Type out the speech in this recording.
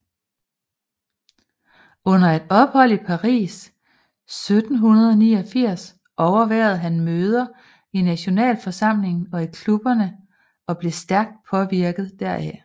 Under et ophold i Paris 1789 overværede han møder i Nationalforsamlingen og i klubberne og blev stærkt påvirket deraf